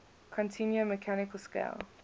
continuum mechanical scale